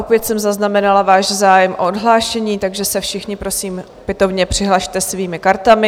Opět jsem zaznamenala váš zájem o odhlášení, takže se všichni, prosím, opětovně přihlaste svými kartami.